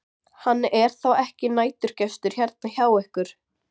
Hann er þá ekki næturgestur hérna hjá ykkur?